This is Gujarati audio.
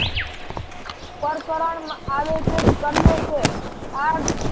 પરકરણ આવે છે. તમને છે આ